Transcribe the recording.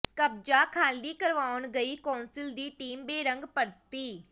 ਕਬਜ਼ਾ ਖਾਲੀ ਕਰਵਾਉਣ ਗਈ ਕੌਂਸਲ ਦੀ ਟੀਮ ਬੇਰੰਗ ਪਰਤੀ